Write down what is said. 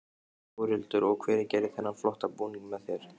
Þórhildur: Og hver gerði þennan flotta búning með þér?